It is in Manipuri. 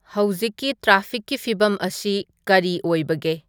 ꯍꯧꯖꯤꯛꯀꯤ ꯇ꯭ꯔꯥꯐꯤꯛꯀꯤ ꯐꯤꯚꯝ ꯑꯁꯤ ꯀꯔꯤ ꯑꯣꯏꯕꯒꯦ